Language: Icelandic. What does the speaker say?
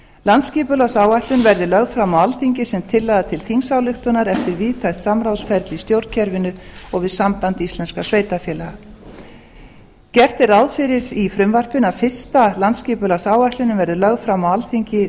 landsskipulagsáætlun verði lögð fram á alþingi sem tillaga til þingsályktunar eftir víðtækt samráðsferli í stjórnkerfinu og við samband íslenskra sveitarfélaga gert er ráð fyrir í frumvarpinu að fyrsta landsskipulagsáætlunin verði lögð fram á alþingi árið